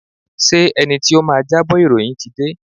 Ṣé ẹni tí ó máa jábọ̀ ìròyìn ti dé?